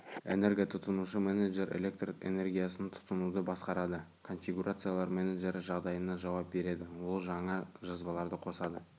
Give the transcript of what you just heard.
энерготұтынушы менеджері электр энергиясын тұтынуды басқарады конфигурациялар менеджері жағдайына жауап береді ол жаңа жазбаларды қосады